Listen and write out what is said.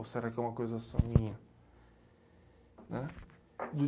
Ou será que é uma coisa só minha, né?